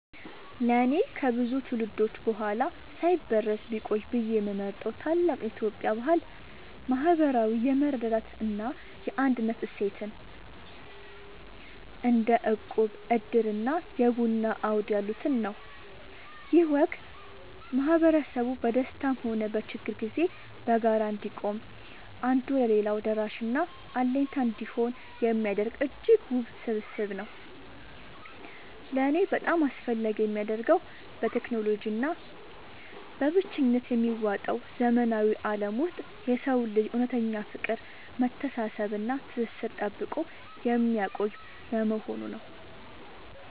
ለእኔ ከብዙ ትውልዶች በኋላ ሳይበረዝ ቢቆይ ብዬ የምመርጠው ታላቅ የኢትዮጵያ ባህል **ማህበራዊ የመረዳዳት እና የአንድነት እሴትን** (እንደ እቁብ፣ ዕድር እና የቡና አውድ ያሉትን) ነው። ይህ ወግ ማህበረሰቡ በደስታም ሆነ በችግር ጊዜ በጋራ እንዲቆም፣ አንዱ ለሌላው ደራሽና አለኝታ እንዲሆን የሚያደርግ እጅግ ውብ ስብስብ ነው። ለእኔ በጣም አስፈላጊ የሚያደርገው፣ በቴክኖሎጂ እና በብቸኝነት በሚዋጠው ዘመናዊ ዓለም ውስጥ የሰውን ልጅ እውነተኛ ፍቅር፣ መተሳሰብ እና ትስስር ጠብቆ የሚያቆይ በመሆኑ ነው።